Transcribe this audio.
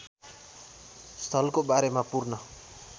स्थलको बारेमा पूर्ण